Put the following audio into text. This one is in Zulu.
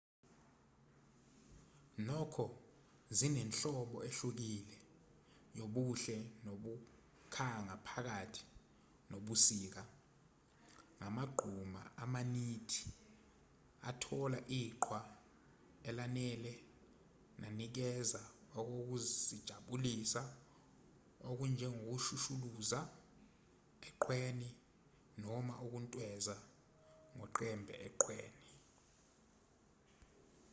nokho zinenhlobo ehlukile yobuhle nokukhanga phakathi nobusika ngamagquma amanithi athola iqhwa elanele nanikeza okokuzijabulisa okunjengokushushuluza eqhweni noma ukuntweza ngoqembe eqhweni